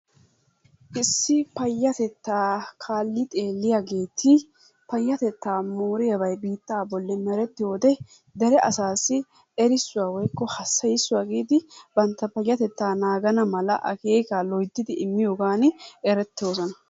Issi payatettaa kaali xeelliyaageeti payatettaa mooriyabay biittaa bolli merettiyoode, dere asaassi errisuwa woykko hassayissuwa giidi bantta payatettaa naagana mala akeekkaa loyttidi immiyogan eretoososna.